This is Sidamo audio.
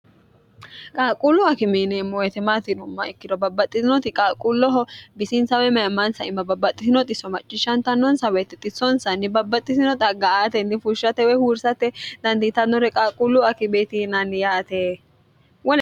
qaaquullu akime yineemmoti maati yinummaha ikkiro babbaxxiinoti qaaquulloho bisiinsaw mayimansa iima babbaxxitinoti xisso maccishshantannonsa wotte xisonsanni babbaxxitino xagga aatenni fushshate woy huursate dandiitannore qaquulluu akieeti yinaanni yaate